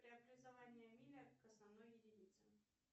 преобразование миля к основной единице